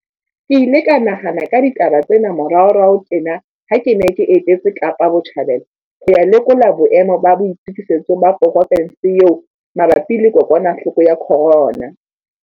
Ke ile ka nahana ka ditaba tsena moraorao tjena ha ke ne ke etetse Kapa Botjhabela ho ya lekola boemo ba boitokisetso ba provense eo mabapi le kokwanahloko ya corona.